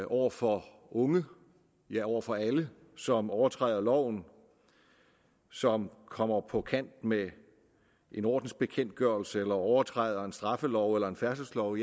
over for unge ja over for alle som overtræder loven som kommer på kant med en ordensbekendtgørelse eller overtræder en straffelov eller en færdselslov